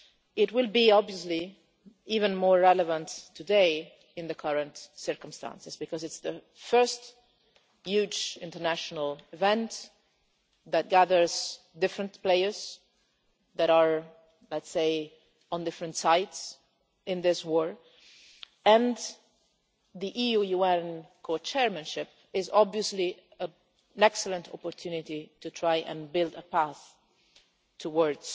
It will be even more relevant today in the current circumstances because it is the first huge international event that gathers different players that are, let's say, on different sides in this war, and the EU UN co chairmanship is obviously an excellent opportunity to try to build a path towards